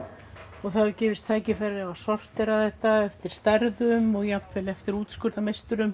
og það hefur gefist tækifæri til að sortera þetta eftir stærðum og jafnvel eftir